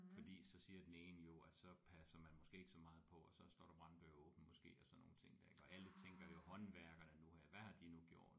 Fordi så siger den ene jo at så passer man måske ikke så meget på og så står der branddøre åbne måske og sådan nogle ting der ik og alle tænker jo håndværkerne nu her hvad har de nu gjort